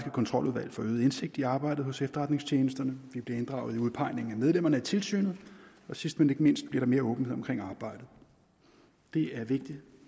kontroludvalg får øget indsigt i arbejdet hos efterretningstjenesterne vi bliver inddraget i udpegningen af medlemmerne af tilsynet og sidst men ikke mindst bliver der mere åbenhed omkring arbejdet det er vigtigt